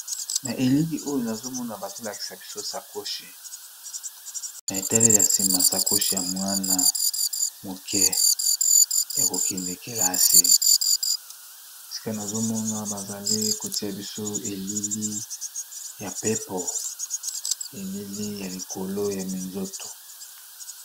Na elili oyo nazomona bazo talisa biso sacoche ,na eteleli yasima sacoche ya Mwana muke yakokende kilase esika nasomona basokotiya biso na elili ya pepo ;elili ya likolo ya minzoto.